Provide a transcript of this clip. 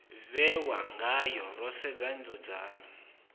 vhewa ngayo ro sedza nzudzanyo